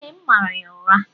Ee, m mara ya ụra.